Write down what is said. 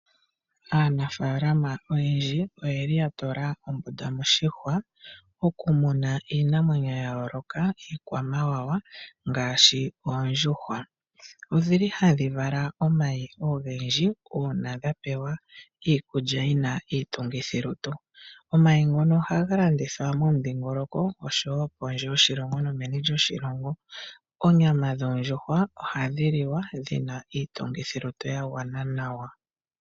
Aanafaalama oyendji oya tula ombunda moshihwa okumuna iinamwenyo ya yooloka iikwamawawa ngaashi oondjuhwa. Ohadhi vala omayi ogendji uuna dha pewa iikulya yi na iitungithilutu. Omayi ngono ohaga landithwa momudhingoloko noshowo meni nokondje yoshilongo. Onyama yondjuhwa ohayi liwa yi na iitungithilutu ya gwana nawa.